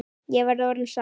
Verð ég orðin sátt?